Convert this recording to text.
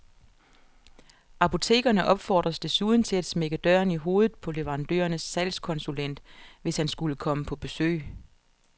Apotekerne opfordres desuden til at smække døren i hovedet på leverandørens salgskonsulent, hvis han skulle komme på besøg.